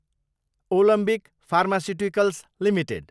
Alembic pharmaceuticals Ltd